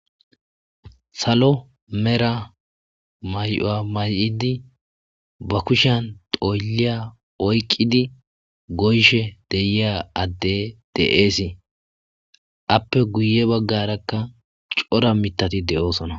Salo medha may'owa mayidi ba kushiyan xoylliya oyqidi goyishe de'iya adde de'es; aappe guye baggarakka cora miththati de'osona.